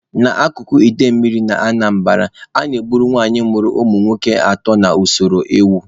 N'akụkụ idemmili na Anambara, a na-egburu nwanyị mụrụ ụmụ nwoke atọ na usoro ewu.